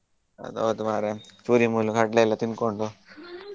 ಅದು ಹೌದು ಮಾರೆ ಪುರಿ ಕಡ್ಲೆ ಎಲ್ಲ ತಿನ್ಕೊಂಡು .